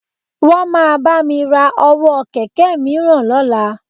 Wọ́n máa bá mi ra ọwọ́ kẹ̀kẹ́ mìíràn lọ́la